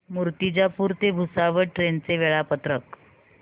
मूर्तिजापूर ते भुसावळ ट्रेन चे वेळापत्रक